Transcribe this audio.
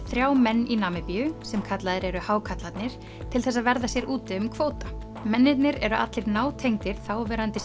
þrjá menn í Namibíu sem kallaðir eru hákarlarnir til þess að verða sér úti um kvóta mennirnir eru allir nátengdir þáverandi